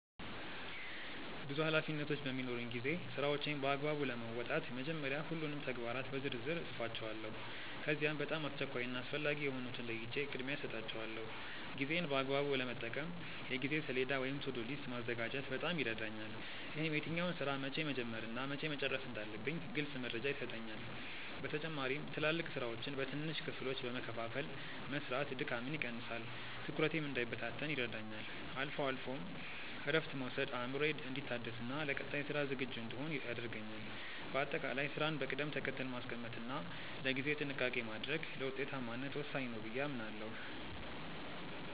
ብዙ ኃላፊነቶች በሚኖሩኝ ጊዜ ስራዎቼን በአግባቡ ለመወጣት መጀመሪያ ሁሉንም ተግባራት በዝርዝር እጽፋቸዋለሁ። ከዚያም በጣም አስቸኳይ እና አስፈላጊ የሆኑትን ለይቼ ቅድሚያ እሰጣቸዋለሁ። ጊዜዬን በአግባቡ ለመጠቀም የጊዜ ሰሌዳ ወይም "To-do list" ማዘጋጀት በጣም ይረዳኛል። ይህም የትኛውን ስራ መቼ መጀመር እና መቼ መጨረስ እንዳለብኝ ግልጽ መረጃ ይሰጠኛል። በተጨማሪም ትላልቅ ስራዎችን በትንንሽ ክፍሎች በመከፋፈል መስራት ድካምን ይቀንሳል፤ ትኩረቴም እንዳይበታተን ይረዳኛል። አልፎ አልፎም እረፍት መውሰድ አእምሮዬ እንዲታደስና ለቀጣይ ስራ ዝግጁ እንድሆን ያደርገኛል። በአጠቃላይ ስራን በቅደም ተከተል ማስቀመጥ እና ለጊዜ ጥንቃቄ ማድረግ ለውጤታማነት ወሳኝ ነው ብዬ አምናለሁ።